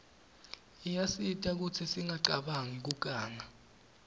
iyasita kutsi singacabani kuganga